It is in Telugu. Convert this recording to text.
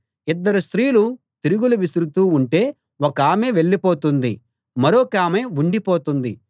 ఇద్దరు స్త్రీలు తిరుగలి విసురుతూ ఉంటే ఒకామె వెళ్ళిపోతుంది మరొకామె ఉండిపోతుంది